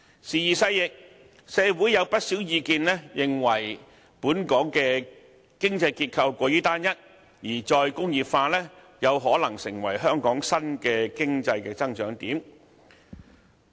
時移世易，社會上有不少意見認為，本港的經濟結構過於單一，而"再工業化"有可能成為香港新的經濟增長點。